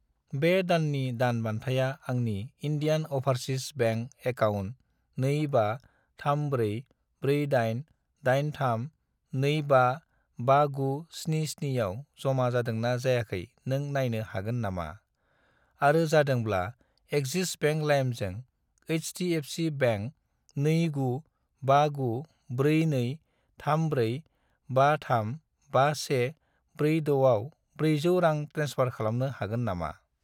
बे दाननि दान बान्थाया आंनि इन्डियान अभारसिस बेंक एकाउन्ट 25344883255977 आव जमा जादोंना जायाखै नों नायनो हागोन नामा, आरो जादोंब्ला, एक्सिस बेंक लाइमजों एच.डि.एफ.सि. बेंक 29594234535146 आव 400 रां ट्रेन्सफार खालामनो हागोन नामा?